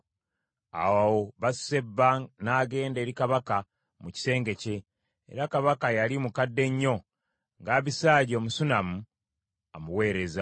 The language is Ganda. Awo Basuseba n’agenda eri Kabaka, mu kisenge kye, era Kabaka yali mukadde nnyo nga Abisaagi Omusunammu amuweereza.